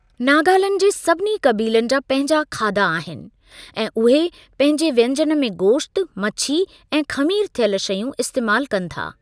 नागालैंड जे सभिनी क़बीलनि जा पंहिंजा खाधा आहिनि ऐं उहे पंहिंजे व्यंजन में गोश्तु, मछी ऐं ख़मीर थियल शयूं इस्तेमालु कनि था।